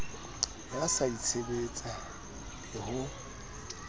ya ho itshebetsa le ho